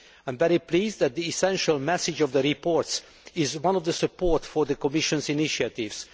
I am very pleased that the essential message of the reports is one of support for the Commission's initiatives.